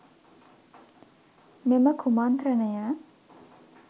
මෙම කුමන්ත්‍රණය